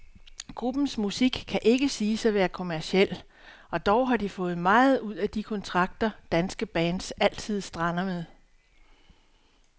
Gruppens musik kan ikke siges at være kommerciel, og dog har de fået meget ud af de kontrakter, danske bands altid strander med.